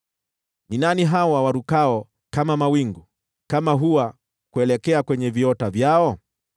“Ni nani hawa warukao kama mawingu, kama hua kuelekea kwenye viota vyao?